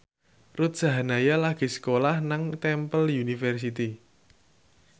Ruth Sahanaya lagi sekolah nang Temple University